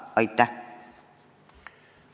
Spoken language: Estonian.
Aitäh!